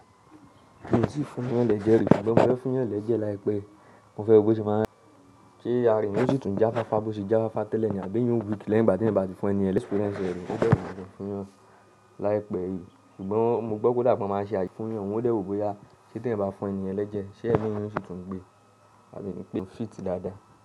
Mo tì fún yàn lẹ́jẹ̀ rí, ṣùgbọ́n mo fẹ́ fún yàn lẹ́jẹ̀ láìpẹ́. Mo fẹ́ wo bó ṣe máa n ṣe àra eeyan ó sì tún jáfáfá, bó ṣe jáfáfá tẹ́lẹ̀ ni, àbí eeyan o weak lẹ́yìn ìgbà tí ẹeyan bá ti fún ẹniyen. Mio ni experience ẹ rí. Ó dẹ̀ gbọdọ̀ fún yàn láìpẹ́ yìí. Ṣùgbọ́n mo gbọ́ pé ó dà pé wọ́n máa n ṣe àyẹ̀wò fún yàn, wọn ó dẹ̀ wò ó bóyá ṣe tí èyàn bá fún ẹni yẹn lẹ́jẹ̀, ṣe ẹ̀mí yẹn ó sì tún gbé àbí pé, ó fìt dáadáa.